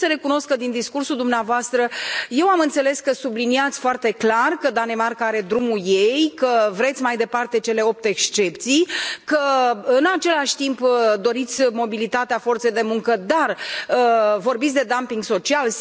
Trebuie să recunosc că din discursul dumneavoastră eu am înțeles că subliniați foarte clar că Danemarca are drumul ei, că vreți mai departe cele opt excepții, că, în același timp, doriți mobilitatea forței de muncă, dar vorbiți de dumping social.